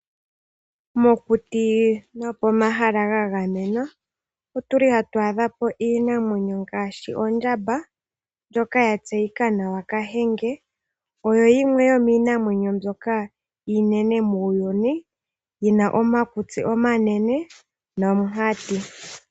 Mokuti nopomahala ga gamenwa otuli hatu adhapo iinamwenyo ngaashi ondjamba ndjoka ya tseyika nawa kahenge. Oyo yimwe yomiinamwenyo mbyoka iinene muuyuni yina omakutsi omanene nomunkati.